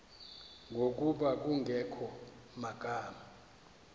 ngokuba kungekho magama